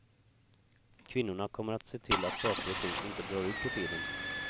Kvinnorna kommer att se till att saker och ting inte drar ut på tiden.